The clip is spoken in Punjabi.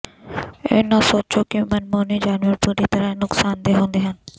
ਇਹ ਨਾ ਸੋਚੋ ਕਿ ਮਨਮੋਹਣੇ ਜਾਨਵਰ ਪੂਰੀ ਤਰ੍ਹਾਂ ਨੁਕਸਾਨਦੇਹ ਹੁੰਦੇ ਹਨ